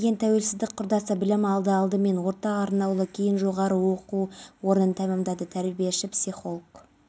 қазақстан республикасының құрмет грамотасымен ақтөбе қаласы ішкі істер басқармасының учаскелік полиция инспекторы балтамбекова ақтау қаласы ішкі